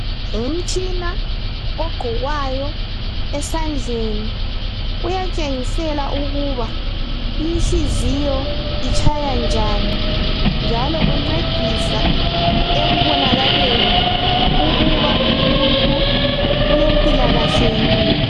Ngumtshina ogqokwayo esandleni uyatshengisela ukuba inhliziyo itshaya njani njalo uncedisa ekubonakaleni ukuba umuntu ulempilakahle yini.